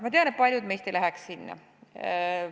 Ma tean, et paljud meist ei läheks sinna.